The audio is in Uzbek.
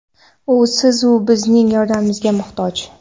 U siz-u bizning yordamimizga muhtoj.